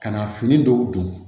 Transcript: Ka na fini dɔw don